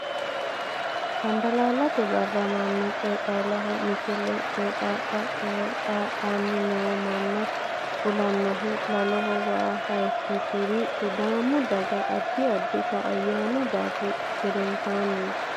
Cambalaallate barra mannu qeexaalaho Misile Qeexaala qeexaa lanni noo manna fulannohu laloho waa hayikkisi ri Sidaamu daga addi addita ayyaanu barri gedensaanniiti.